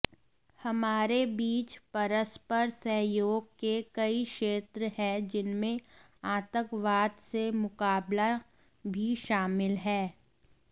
हमारे बीच परस्पर सहयोग के कई क्षेत्र हैं जिनमें आतंकवाद से मुकाबला भी शामिल है